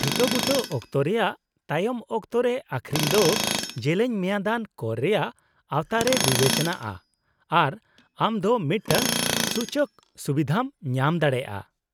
-ᱴᱷᱤᱠᱟᱹᱵᱩᱴᱟᱹ ᱚᱠᱛᱚ ᱨᱮᱭᱟᱜ ᱛᱟᱭᱚᱢ ᱚᱠᱛᱚ ᱨᱮ ᱟᱹᱷᱨᱤᱧ ᱫᱚ ᱡᱮᱞᱮᱧ ᱢᱮᱭᱟᱫᱟᱱ ᱠᱚᱨ ᱨᱮᱭᱟᱜ ᱟᱣᱛᱟ ᱨᱮ ᱵᱤᱵᱮᱪᱚᱱᱟᱜᱼᱟ ᱟᱨ ᱟᱢ ᱫᱚ ᱢᱤᱫᱴᱟᱝ ᱥᱩᱪᱚᱠ ᱥᱩᱵᱤᱫᱷᱟᱢ ᱧᱟᱢ ᱫᱟᱲᱮᱭᱟᱜᱼᱟ ᱾